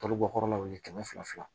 Tɔli bɔ kɔrɔlaw ye kɛmɛ fila fila